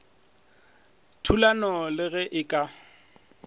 thulanong le ge e ka